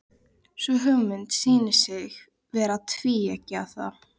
Sú hugmynd sýnir sig vera tvíeggjaða.